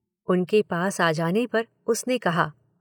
उनके पास आ जाने पर उसने कहा।